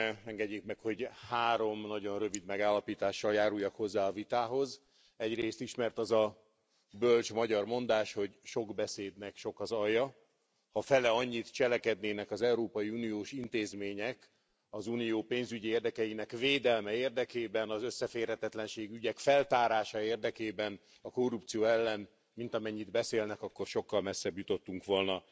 Engedjék meg, hogy három nagyon rövid megállapítással járultak hozzá a vitához. Egyrészt ismert az a bölcs magyar mondás, hogy sok beszédnek sok az alja, ha feleannyit cselekednének az európai uniós intézmények az Unió pénzügyi érdekeinek védelme érdekében, az összeférhetetlenségi ügyek feltárása érdekében, a korrupció ellen, mint amennyit beszélnek, akkor sokkal messzebb jutottunk volna.